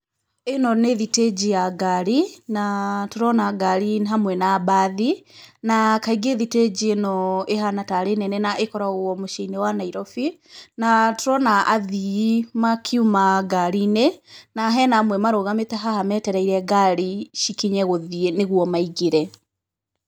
ĩno nĩ thitĩnji ya ngari, na tũrona ngari hamwe na mbathi, na kaingĩ thitĩnji ĩno ĩhata taarĩ nene na ĩkoragwo mũciĩ-inĩ wa Nairobi. Na tũrona athii makiuma ngari-inĩ na hena amwe marũgamĩte haha metereire ngari cikinye gũthiĩ, nĩguo maingĩre.